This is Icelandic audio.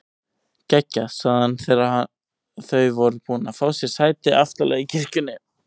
Geggjað sagði hann þegar þau voru búin að fá sér sæti aftarlega í kirkjunni.